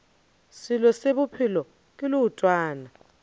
selo se bophelo ke leotwana